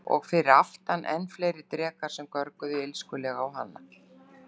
Og fyrir aftan enn fleiri drekar sem görguðu illskulega á hana.